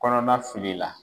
Kɔnɔma fili la